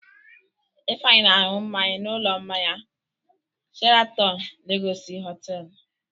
Ifeanyị na-aṅụ mmanya n'ụlọ mmanya Sheratọn Legọsị Họtelụ.